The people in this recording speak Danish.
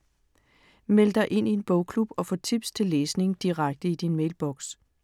Meld dig ind i en bogklub og få tips til læsning direkte i din mailboks.